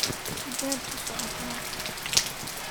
xageed u socotaa